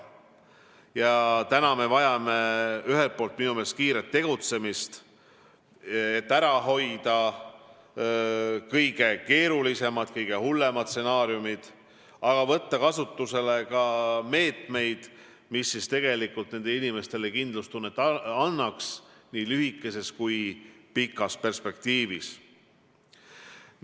Me vajame minu meelest ühelt poolt kiiret tegutsemist, et ära hoida kõige keerulisemad, kõige hullemad stsenaariumid, aga tuleb võtta ka meetmeid, mis tegelikult annaks nendele inimestele kindlustunnet nii lühikeses kui ka pikas perspektiivis.